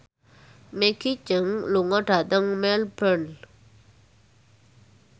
Maggie Cheung lunga dhateng Melbourne